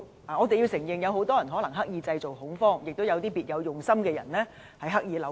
我們須承認有很多人可能是刻意製造恐慌，也有一些別有用心的人刻意扭曲。